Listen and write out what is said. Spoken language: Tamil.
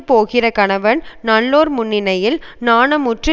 போகிற கணவன் நல்லோர் முன்னிலையில் நாணமுற்று